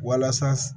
Walasa